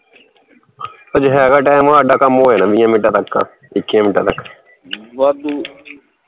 ਅਜੇ ਹੈਗਾ time ਹਾਡਾ ਕੰਮ ਹੋ ਜਾਣਾ ਵੀਹਾਂ ਮਿੰਟਾਂ ਤੱਕ ਮਿੰਟਾਂ ਤੱਕ ਵਾਧੂ